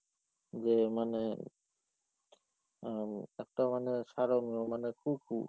যে মানে আহ একটা মানে সারঙ্গ মানে কুকুর,